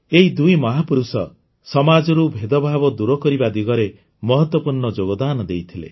ଏ ଦୁଇ ମହାପୁରୁଷ ସମାଜରୁ ଭେଦଭାବ ଦୂର କରିବା ଦିଗରେ ମହତ୍ୱପୂର୍ଣ୍ଣ ଯୋଗଦାନ ଦେଇଥିଲେ